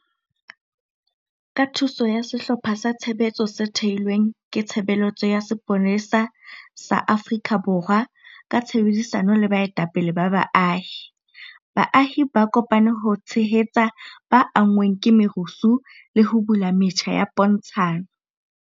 Ka thuso ya sehlopha sa tshebetso se thehilweng ke Tshebeletso ya Sepolesa sa Afrika Borwa ka tshebedisano le baetapele ba baahi, baahi ba kopane ho tshehetsa ba anngweng ke merusu le ho bula metjha ya pontshano.